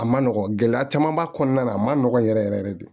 A ma nɔgɔn gɛlɛya caman b'a kɔnɔna na a ma nɔgɔn yɛrɛ yɛrɛ de